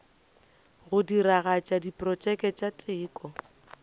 go diragatša diprotšeke tša teko